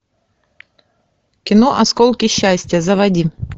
кино осколки счастья заводи